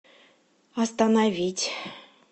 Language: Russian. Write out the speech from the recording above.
остановить